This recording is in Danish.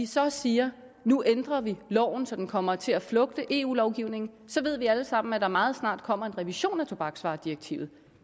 så siger at nu ændrer vi loven så den kommer til at flugte med eu lovgivningen så ved vi alle sammen at der meget snart kommer en revision af tobaksvaredirektivet